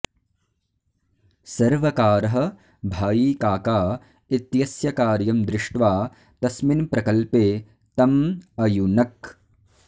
सर्वकारः भाईकाका इत्यस्य कार्यं दृष्ट्वा तस्मिन् प्रकल्पे तम् अयुनक्